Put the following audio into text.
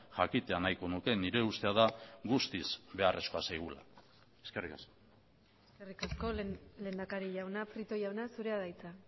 jakitea nahiko nuke nire ustea da guztiz beharrezkoa zaigula eskerrik asko eskerrik asko lehendakari jauna prieto jauna zurea da hitza